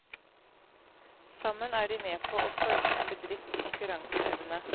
Sammen er de med på å forme en bedrifts konkurranseevne.